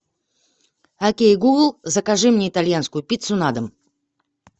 окей гугл закажи мне итальянскую пиццу на дом